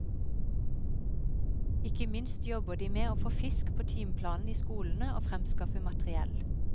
Ikke minst jobber de med å få fisk på timeplanen i skolene og fremskaffe materiell.